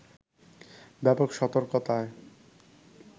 ব্যাপক সতর্কতায়